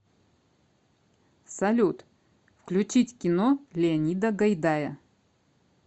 салют включить кино леонида гайдая